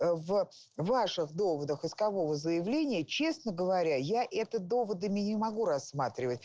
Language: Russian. в ваших доводов искового заявления честно говоря я это доводами не могу рассматривать